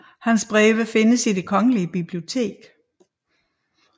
Hans breve findes i Det Kongelige Bibliotek